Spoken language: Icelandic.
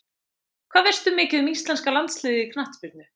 Hvað veistu mikið um íslenska landsliðið í knattspyrnu?